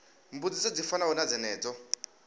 mbudziso dzi fanaho na dzenedzo